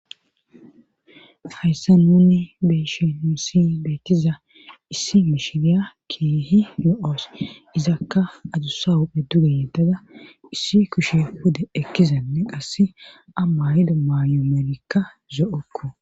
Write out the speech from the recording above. Hayssa munni beshinu ssi beetiza issi mishiriya keehi no' izakka adusa huphphe duge yettada issi kushe pude ekkizanne qass amayido mayomerikka zo'okko.